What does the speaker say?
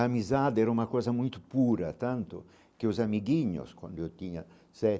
A amizade era uma coisa muito pura, tanto que os amiguinhos, quando eu tinha